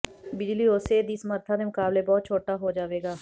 ਬਿਜਲੀ ਉਸੇ ਦੀ ਸਮਰੱਥਾ ਦੇ ਮੁਕਾਬਲੇ ਬਹੁਤ ਛੋਟਾ ਹੋ ਜਾਵੇਗਾ